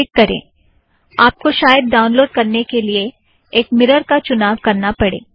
click करें - आपको शायद डाउनलोड करने के लिए एक मिरर का चुनाव करना पड़े